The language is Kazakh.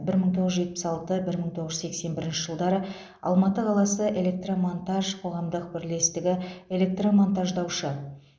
бір мың тоғыз жүз жетпіс алты бір мың тоғыз жүз сексен бірінші жылдары алматы қаласы электромонтаж қоғамдық бірлестігі электромонтаждаушы